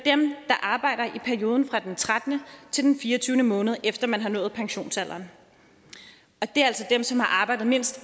arbejder i perioden fra den trettende til den fireogtyvende måned efter at man har nået pensionsalderen og det er altså dem som har arbejdet mindst